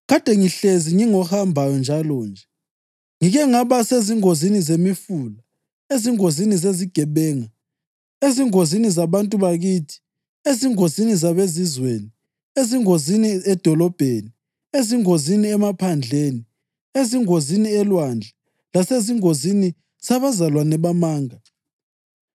kade ngihlezi ngingohambayo njalonje. Ngike ngaba sezingozini zemifula, ezingozini zezigebenga, ezingozini zabantu bakithi, ezingozini zabeZizweni, ezingozini edolobheni, ezingozini emaphandleni, ezingozini elwandle; lasezingozini zabazalwane bamanga.